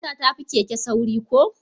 Mota ta fi keke sauri ko?